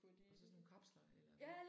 Og så sådan nogle kapsler eller hvordan?